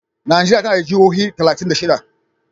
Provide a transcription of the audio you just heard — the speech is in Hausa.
Najeriya tana da jihohi talatin da shida.